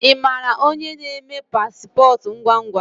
Imara onye na-eme pasipotu ngwangwa?